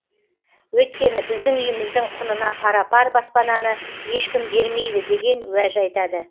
өйткені біздің үйіміздің құнына пара пар баспананы ешкім бермейді деген уәж айтады